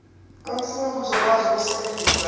umfundi uzokwazi ukusebenzisa